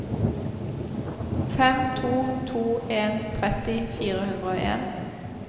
fem to to en tretti fire hundre og en